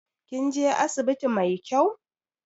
Kin je asibiti mai kyau?